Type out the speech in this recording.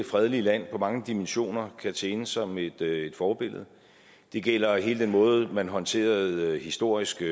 fredelige land i mange dimensioner kan tjene som et et forbillede det gælder hele den måde man håndterede de historiske